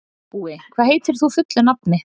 Búi, hvað heitir þú fullu nafni?